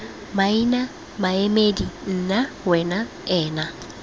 maina maemedi nna wena ena